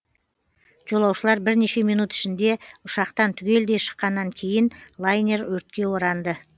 жолаушылар бірнеше минут ішінде ұшақтан түгелдей шыққаннан кейін лайнер өртке оранды